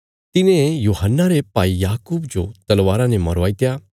तिने यूहन्ना रे भाई याकूब जो तलवारा ने मरवाईत्या